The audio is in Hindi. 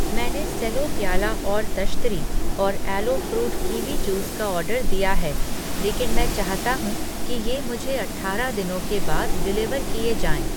मैंने सेलो प्याला और तश्तरी और ऐलो फ़्रूट कीवी जूस का ऑर्डर दिया है, लेकिन मैं चाहता हूँ कि ये मुझे अठारह दिनों के बाद डिलिवर किए जाएँ।